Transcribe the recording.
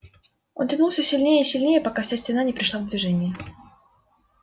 он тянул все сильнее и сильнее пока вся стена не пришла в движение